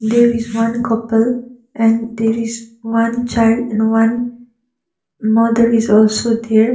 there is one couple and there is one child and one mother is also there.